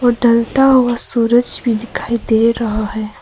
वो ढलता हुआ सूरज भी दिखाई दे रहा है।